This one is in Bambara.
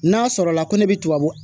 N'a sɔrɔla ko ne bɛ tubabu